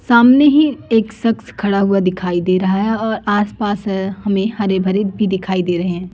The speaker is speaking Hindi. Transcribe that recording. सामने ही एक शख्स दिखाई दे रहा है अ आसपास हमें हरे भरे भी दिखाई दे रहे हैं।